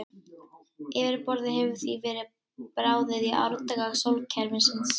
Yfirborðið hefur því verið bráðið í árdaga sólkerfisins.